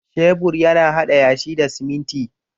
Shebur yana haɗa yashi da siminti